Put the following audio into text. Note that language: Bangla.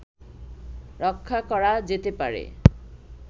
রক্ষা করা যেতে পারে